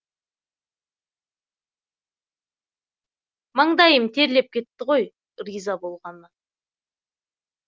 маңдайым терлеп кетті ғой риза болғаннан